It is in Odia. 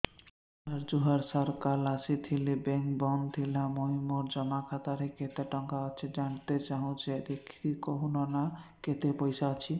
ସାର ଜୁହାର ସାର କାଲ ଆସିଥିନି ବେଙ୍କ ବନ୍ଦ ଥିଲା ମୁଇଁ ମୋର ଜମା ଖାତାରେ କେତେ ଟଙ୍କା ଅଛି ଜାଣତେ ଚାହୁଁଛେ ଦେଖିକି କହୁନ ନା କେତ ପଇସା ଅଛି